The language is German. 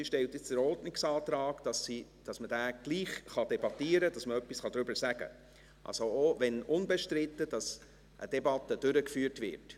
Sie stellt jetzt den Ordnungsantrag, dass man das trotzdem debattieren kann, dass man etwas dazu sagen kann, dass also auch wenn unbestritten, eine Debatte durchgeführt wird.